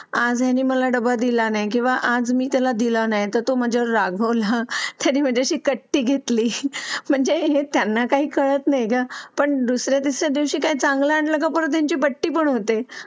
आज आणि मला डबल दिला नाही किंवा अजून त्याला दिला नाही तर तो म्हणजे रागावला तरी म्हणजे शिकत ती घेतली म्हणजे हे. त्यांना काही कळत नाही, पण दुसर् यादिवशी या दिवशी काही चांगलं कपूर यांची पट्टी पण होते